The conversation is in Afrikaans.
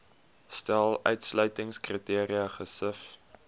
stel uitsluitingskriteria gesif